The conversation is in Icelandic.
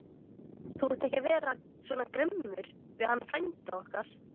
Þú átt ekki vera svona grimmur við hann frænda okkar!